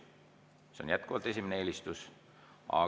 See on jätkuvalt esimene eelistus!